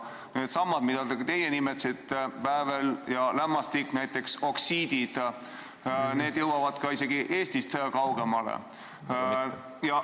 Needsamad heitmed, mida ka teie nimetasite, väävel ja lämmastik näiteks, oksiidid, jõuavad isegi Eestist kaugemale.